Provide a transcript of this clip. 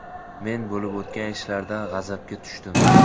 Men bo‘lib o‘tgan ishlardan g‘azabga tushdim.